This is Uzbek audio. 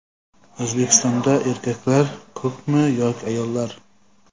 O‘zbekistonda erkaklar ko‘pmi yoki ayollar?.